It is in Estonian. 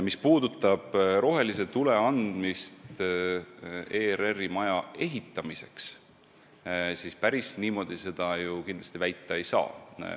Mis puudutab rohelise tule andmist ERR-i maja ehitamiseks, siis päris kindlalt seda väita ei saa.